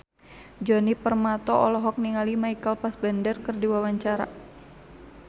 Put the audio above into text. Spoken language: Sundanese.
Djoni Permato olohok ningali Michael Fassbender keur diwawancara